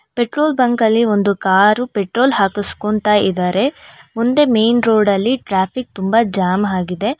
Petrol bunk ಲ್ಲಿ ಒಂದು ಕಾರು ಪೆಟ್ರೋಲ್ ಹಕುಸ್ಕೊಂತ ಇದ್ದಾರೆ ಮುಂದೆ ಮೇನ್ ರೋಡ ಲ್ಲಿ ಟ್ರಾಫಿಕ್ ತುಂಬಾ ಜಾಮ್ ಆಗಿದೆ.